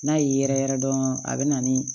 N'a y'i yɛrɛyɛrɛ dɔrɔn a bɛ na ni